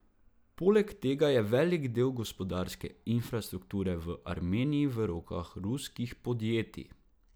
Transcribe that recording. Poleg tega je velik del gospodarske infrastrukture v Armeniji v rokah ruskih podjetij.